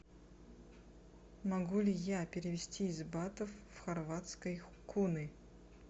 могу ли я перевести из батов в хорватские куны